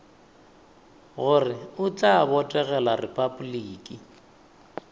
gore o tla botegela repabliki